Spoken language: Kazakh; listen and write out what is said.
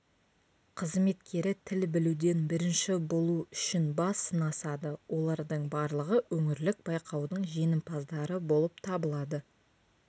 қызметкері тіл білуден бірінші болу үшін бас сынасады олардың барлығы өңірлік байқаудың жеңімпаздары болып табылады